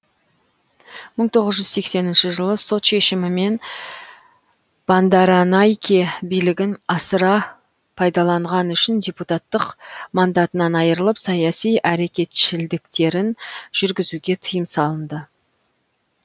мың тоғыз жүз сексенінші жылы сот шешімімен бандаранайке билігін асыра пайдаланған үшін депутаттық мандатынан айрылып саяси әрекетшілдіктерін жүргізуге тыйым салынды